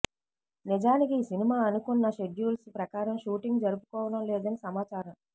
నిజానికి ఈ సినిమా అనుకున్న షెడ్యూల్స్ ప్రకారం షూటింగ్ జరుపుకోవడం లేదని సమాచారం